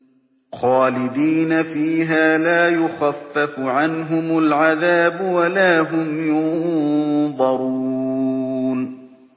خَالِدِينَ فِيهَا لَا يُخَفَّفُ عَنْهُمُ الْعَذَابُ وَلَا هُمْ يُنظَرُونَ